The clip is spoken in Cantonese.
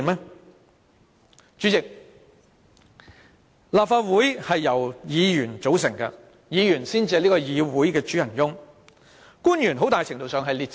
代理主席，立法會由議員組成，議員才是這個議會的主人翁，官員很大程度上只是列席會議。